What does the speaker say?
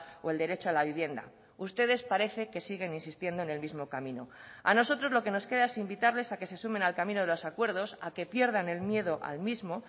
o el derecho a la vivienda ustedes parece que siguen insistiendo en el mismo camino a nosotros lo que nos queda es invitarles a que se sumen al camino de los acuerdos a que pierdan el miedo al mismo